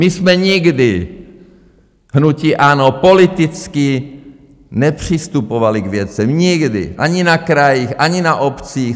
My jsme nikdy, hnutí ANO, politicky nepřistupovali k věcem, nikdy, ani na krajích, ani na obcích.